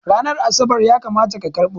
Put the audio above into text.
Ranar Asabar ya kamata ka karɓo!